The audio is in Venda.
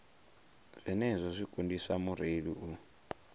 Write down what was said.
zwenezwo zwi kundisa mureili u